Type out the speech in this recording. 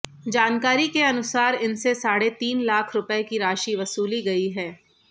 जानकारी के अनुसार इनसे साढ़े तीन लाख रूपये की राशि वसूली गई है